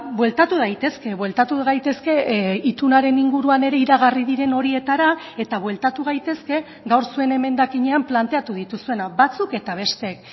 bueltatu daitezke bueltatu gaitezke itunaren inguruan ere iragarri diren horietara eta bueltatu gaitezke gaur zuen emendakinean planteatu dituzuena batzuk eta besteek